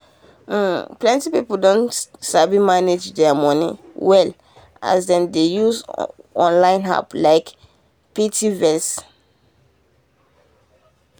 um plenty people don sabi manage their money well as dem dey um use online apps um like piggyvest.